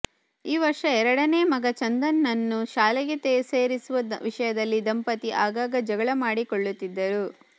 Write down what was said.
ಈ ವರ್ಷ ಎರಡನೇ ಮಗ ಚಂದನ್ ನನ್ನು ಶಾಲೆಗೆ ಸೇರಿಸುವ ವಿಷಯದಲ್ಲಿ ದಂಪತಿ ಆಗಾಗ ಜಗಳ ಮಾಡಿಕೊಳ್ಳುತ್ತಿದ್ದರು